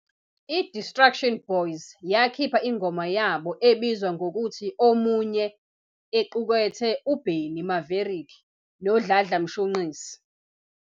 I-Distruction Boyz yakhipha ingoma yabo ebizwa ngokuthi Omunye equkethe u"Benny Maverick" no"Dladla Mshunqisi".